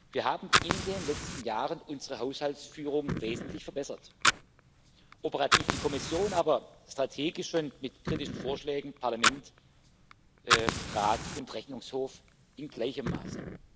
Wir haben in den letzten Jahren unsere Haushaltsführung wesentlich verbessert operativ die Kommission, aber strategisch und mit kritischen Vorschlägen Parlament, Rat und Rechnungshof in gleichem Maße.